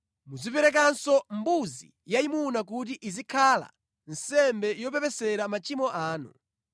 Muziperekanso mbuzi yayimuna kuti izikhala nsembe yopepesera machimo anu.